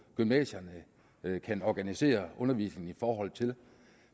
gymnasierne kan organisere undervisningen i forhold til